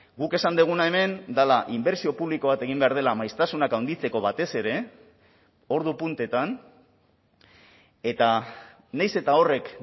guk esan duguna hemen dela inbertsio publiko bat egin behar dela maiztasunak handitzeko batez ere ordu puntetan eta nahiz eta horrek